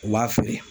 U b'a feere